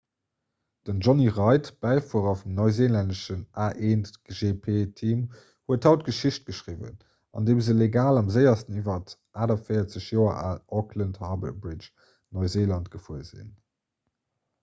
den jonny reid bäifuerer vum neuseelännesche a1gp-team huet haut geschicht geschriwwen andeem se legal am séiersten iwwer d'48 joer al auckland harbour bridge neuseeland gefuer sinn